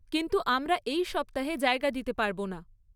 কিন্তু আমরা এই সপ্তাহে জায়গা দিতে পারবো না।